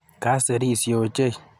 Kaserisye ochei.